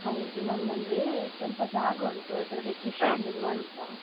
ಹೌದು. ನಮ್ದಂದ್ರೇ, ಒಂದ್ ಸ್ವಲ್ಪ ಜಾಗ ಉಂಟು ಅದ್ರಲ್ಲಿ ಕೃಷಿ ಮಾಡುವ ಅಂತ.